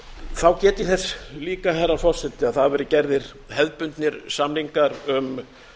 þá get ég þess líka herra forseti að það hafa verið gerðir hefðbundnir samningar um